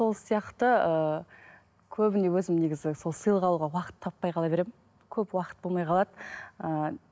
сол сияқты ыыы көбіне өзім негізі сол сыйлық алуға уақыт таппай қала беремін көп уақыт болмай қалады ыыы